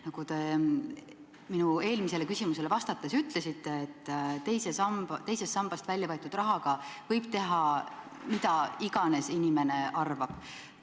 Nagu te minu eelmisele küsimusele vastates ütlesite, teisest sambast välja võetud rahaga võib inimene teha, mida iganes soovib.